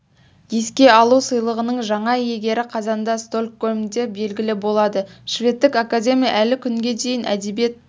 еске алу сыйлығының жаңа иегері қазанда стокгольмде белгілі болады шведтік академия әлі күнге дейін әдебиет